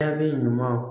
Taabi ɲuman